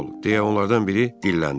deyə onlardan biri dilləndi.